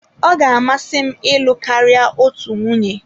Ọ ga-amasị m ịlụ karịa otu nwunye.